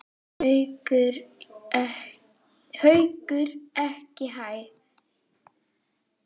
Haukur: Ekki hæ?